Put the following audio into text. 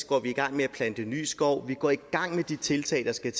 går vi gang med at plante ny skov vi går i gang med de tiltag der skal